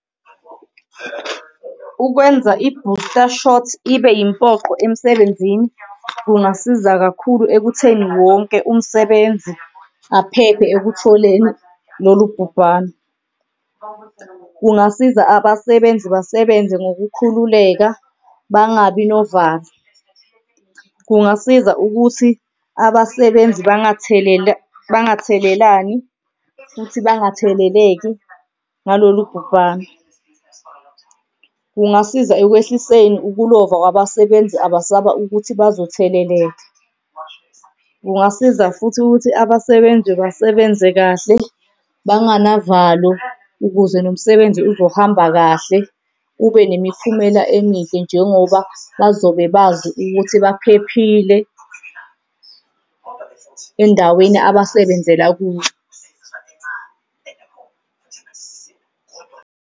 Ukwenza i-booster shot ibe impoqo emsebenzini kungasiza kakhulu ekutheni wonke umsebenzi aphephe ekutholeni lolu bhubhano. Kungasiza abasebenzi basebenze ngokukhululeka bangabi novalo. Kungasiza ukuthi abasebenzi bangathelela, bangathelelani futhi bangatheleleki ngalolu bhubhano. Kungasiza ekwehliseni ukulova kwabasebenzi abasaba ukuthi bazotheleleka. Kungasiza futhi ukuthi abasebenzi basebenze kahle banganavalo ukuze nomsebenzi uzohamba kahle ube nemiphumela emihle njengoba bazobe bazi ukuthi baphephile endaweni abasebenzela kuyo.